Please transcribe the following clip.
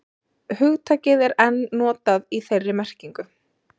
Hugtakið er enn notað í þeirri merkingu.